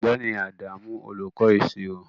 Ọ̀gbẹ́ni Adamu olùkọ́ Ìṣirò